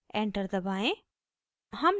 enter दबाएं